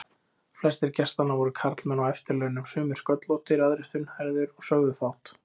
Flestir gestanna voru karlmenn á eftirlaunum, sumir sköllóttir, aðrir þunnhærðir, og sögðu fátt.